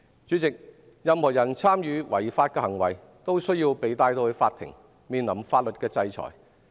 主席，任何人參與違法行為都需要被帶上法庭，面臨法律的制裁。